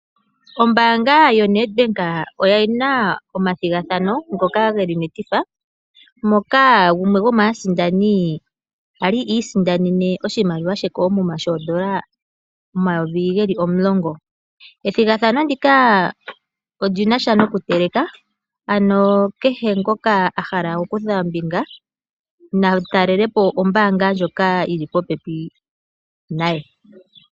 Ombaanga yo Nedbank oyina omathigathanopo ngoka geli metifa moka gumwe gwomaasindani ali I isindanene oshimaliwa she koomuma shoondola omayovi geli omulongo . Ethigathano ndika olinasha noku teleka ano kehe ngoka ahala oku kutha ombinga na talelapo ombaanga ndjoka yili popepi naye.